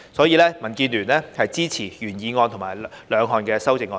因此，民建聯支持原議案及兩項修正案。